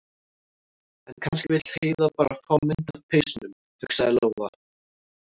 En kannski vill Heiða bara fá mynd af peysunum, hugsaði Lóa- Lóa.